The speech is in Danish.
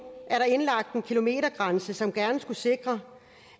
er der indlagt en kilometergrænse som gerne skulle sikre